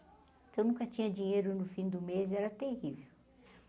Então, nunca tinha dinheiro no fim do mês, era terrível.